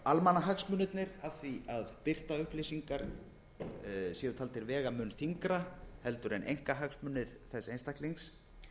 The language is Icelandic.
af því að birta upplýsingar séu taldir vega mun þyngra heldur en einkahagsmunir þess einstaklings